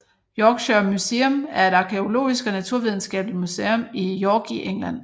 Yorkshire Museum er et arkæologisk og naturvidenskabeligt museum i York i England